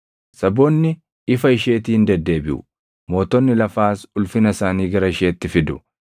Saboonni ifa isheetiin deddeebiʼu; mootonni lafaas ulfina isaanii gara isheetti fidu.